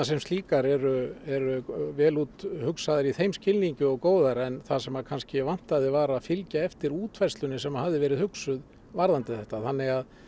sem slíkar eru eru vel úthugsaðar í þeim skilningi og góðar en það sem kannski vantaði var að fylgja eftir útfærslunni sem hafði verið hugsuð varðandi þetta þannig að